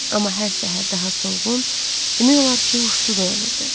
Amma hər səhər daha solğun, demək olar ki, huşsuz oyanırdı.